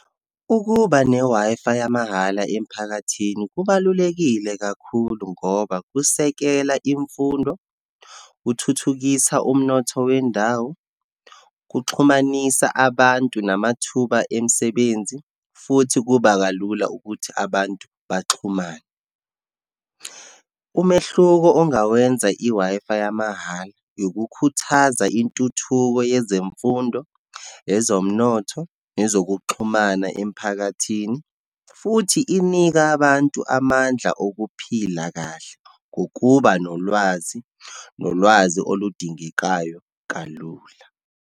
Ukuba ne-Wi-Fi yamahala emphakathini kubalulekile kakhulu, ngoba kusekela imfundo, kuthuthukisa umnotho wendawo, kuxhumanisa abantu namathuba emisebenzi, futhi kuba kalula ukuthi abantu baxhumane. Umehluko ongawenza i-Wi-Fi yamahala, yokukhuthaza intuthuko yezemfundo, ezomnotho, yezokuxhumana emphakathini, futhi inika abantu amandla okuphila kahle ngokuba nolwazi, nolwazi oludingekayo kalula.